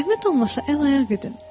Zəhmət olmasa əl-ayaq edin.